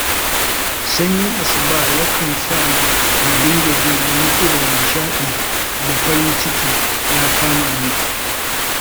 Sanyin asuba yakan sa na dinga jin wani irin nishaɗi da farin ciki ya kama ni.